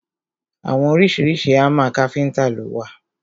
Àwọn oríṣiríṣi hámà káfíntà lo wà.